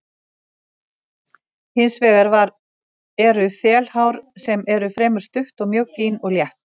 Hins vegar eru þelhár sem eru fremur stutt og mjög fín og létt.